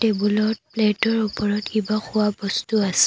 টেবুলত প্লেটৰ ওপৰত কিবা খোৱা বস্তু আছে।